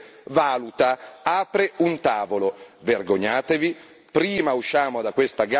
Ogni giorno chiudono centinaia di aziende, mentre la Commissione riflette, valuta, apre un tavolo. Vergognatevi.